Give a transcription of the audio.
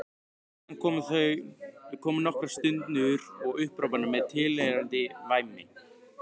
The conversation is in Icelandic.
Síðan komu nokkrar stunur og upphrópanir með tilheyrandi væmni.